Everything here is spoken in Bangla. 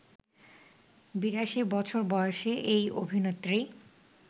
৮২ বছর বয়সী এই অভিনেত্রী